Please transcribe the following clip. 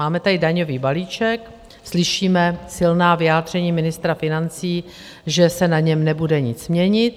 Máme tady daňový balíček, slyšíme silná vyjádření ministra financí, že se na něm nebude nic měnit.